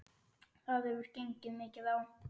Það hefur gengið mikið á!